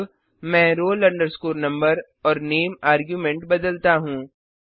अब मैं roll number और नामे अर्ग्युमेंट बदलता हूँ